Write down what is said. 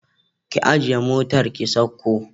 Ki ajiye motar ki sauko